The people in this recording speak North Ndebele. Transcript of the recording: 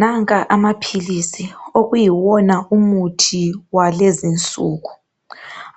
Nanka amaphilizi kuyiwona umuthi wakulezinsuku